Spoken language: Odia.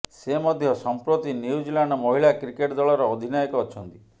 ସେ ମଧ୍ୟ ସଂପ୍ରତି ନ୍ୟୁଜିଲାଣ୍ଡ ମହିଳା କ୍ରିକେଟ୍ ଦଳର ଅଧିନାୟକ ଅଛନ୍ତି